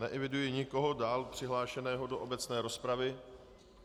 Neeviduji nikoho dále přihlášeného do obecné rozpravy.